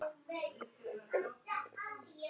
En ég sá til ykkar úti á Bergi!